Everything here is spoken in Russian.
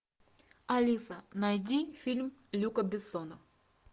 алиса найди фильм люка бессона